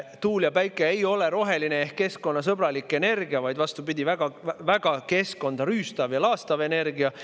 Tuule‑ ja päikeseenergia ei ole roheline ehk keskkonnasõbralik, vaid vastupidi, väga-väga keskkonda rüüstav ja laastav energia.